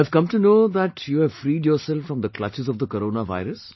I have come to know that you have freed yourself from the clutches of the Corona virus